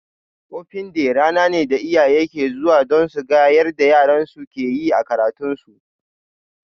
Open day rana ne da iyaye ke zuwa don suga yarda yaran su ke yi a karatun su